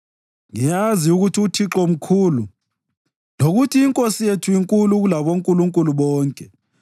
Ngiyazi ukuthi uThixo mkhulu, lokuthi iNkosi yethu inkulu kulabonkulunkulu bonke.